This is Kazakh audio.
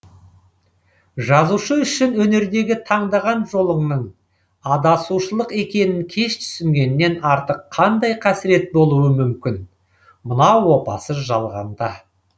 жазушы үшін өнердегі таңдаған жолыңның адасушылық екенін кеш түсінгеннен артық қандай қасірет болуы мүмкін мына опасыз жалғанда